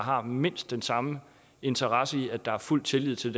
har mindst den samme interesse i at der er fuld tillid til